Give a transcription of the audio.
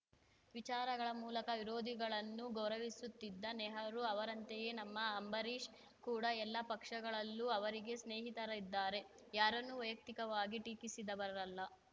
ವಿಚಾರಗಳ ಮೂಲಕ ವಿರೋಧಿಗಳನ್ನೂ ಗೌರವಿಸುತ್ತಿದ್ದ ನೆಹರು ಅವರಂತೆಯೇ ನಮ್ಮ ಅಂಬರೀಷ್‌ ಕೂಡ ಎಲ್ಲ ಪಕ್ಷಗಳಲ್ಲೂ ಅವರಿಗೆ ಸ್ನೇಹಿತರಿದ್ದಾರೆ ಯಾರನ್ನೂ ವೈಯಕ್ತಿಕವಾಗಿ ಟೀಕಿಸಿದವರಲ್ಲ